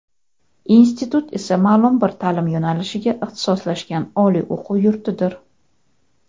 Institut esa maʼlum bir taʼlim yo‘nalishiga ixtisoslashgan oliy o‘quv yurtidir.